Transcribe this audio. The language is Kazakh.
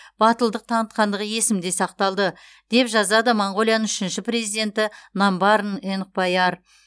батылдық танытқандығы есімде сақталды деп жазады моңғолияның үшінші президенті намбарын энхбаяр